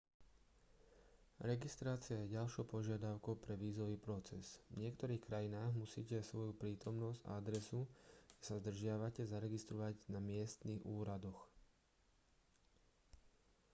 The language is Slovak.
registrácia je ďalšou požiadavkou pre vízový proces v niektorých krajinách musíte svoju prítomnosť a adresu kde sa zdržiavate zaregistrovať na miestnych úradoch